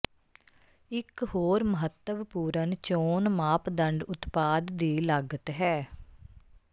ਇੱਕ ਹੋਰ ਮਹੱਤਵਪੂਰਨ ਚੋਣ ਮਾਪਦੰਡ ਉਤਪਾਦ ਦੀ ਲਾਗਤ ਹੈ